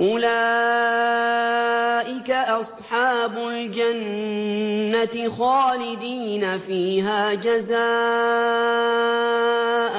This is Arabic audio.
أُولَٰئِكَ أَصْحَابُ الْجَنَّةِ خَالِدِينَ فِيهَا جَزَاءً